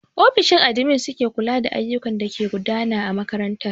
Ofishin admin su ke kula da ayyukan dake gudana a makaranta.